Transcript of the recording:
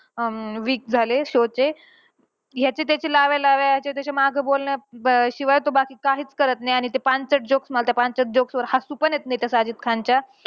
अं week झाले show चे. ह्याची त्याची लाव्यालाव्या, ह्याच्यात्याच्या मागे बोलण्या अं शिवाय तो बाकी काहीच करत नाही. आणि ते पांचट jokes मला त्या पांचट joke वर हसू पण येत नाही त्या साजिद खानच्या.